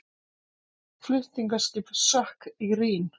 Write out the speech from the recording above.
Flutningaskip sökk í Rín